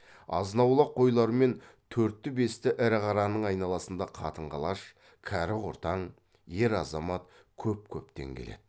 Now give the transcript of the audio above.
азынаулақ қойлар мен төртті бесті ірі қараның айналасында қатын қалаш кәрі құртаң ер азамат көп көптен келеді